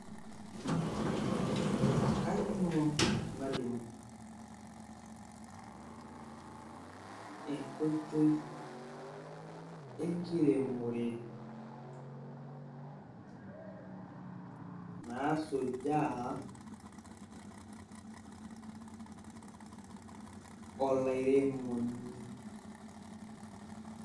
kainyioo nalimu enkoitoi enkiremore, nasujaa olairemoni?